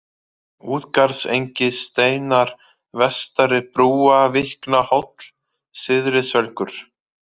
Útgarðsengi, Steinar, Vestari-Brúavíknahóll, Syðri-Svelgur